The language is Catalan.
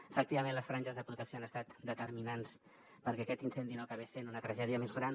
efectivament les franges de protecció han estat determinants perquè aquest incendi no acabés sent una tragèdia més gran